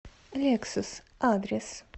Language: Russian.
лексус адрес